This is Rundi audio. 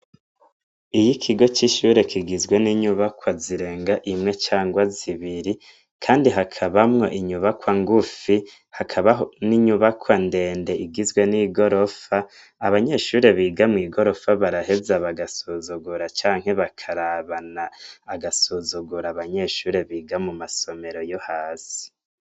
Iyi kigo c'ishure kigizwe n'inyubakwa zirenga imwe cangwa zibiri kandi hakabamwo inyubakwa ngufi hakabaho n'inyubakwa ndende igizwe n'igorofa abanyeshuri biga mu igorofa baraheza bagasuzugura canke bakarabana agasuzugura abanyeshuri biga mu masomero yo hasi.